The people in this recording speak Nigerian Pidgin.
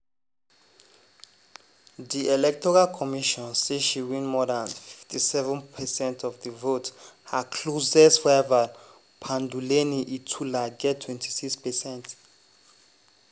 di electoral commission say she win more dan 57 percent of di vote her closest rival panduleni itula get 26%.